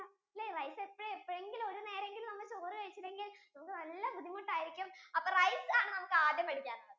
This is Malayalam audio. rice എപ്പോഴേ എപ്പോഴെങ്കിലും ഒരു നേരം എങ്കിലും ചോറ് കഴിച്ചില്ലെങ്കിൽ നമുക്ക് നല്ല ബുദ്ധിമുട്ടു ആയിരിക്കും അപ്പൊ rice ആണ് നമുക്ക് ആരാദ്യം പഠിക്കാൻ ഉള്ളത്